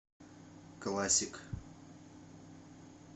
классик